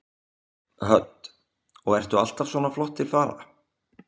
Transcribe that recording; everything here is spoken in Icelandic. Hödd: Og ertu alltaf svona flott til fara?